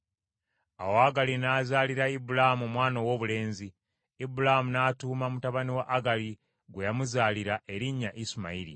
Awo Agali n’azaalira Ibulaamu omwana owoobulenzi, Ibulaamu n’atuuma mutabani wa Agali gwe yamuzaalira, erinnya Isimayiri.